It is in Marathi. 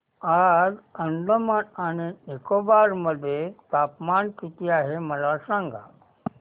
आज अंदमान आणि निकोबार मध्ये तापमान किती आहे मला सांगा